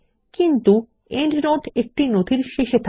কিন্তু প্রান্তটীকা একটি নথির শেষে থাকে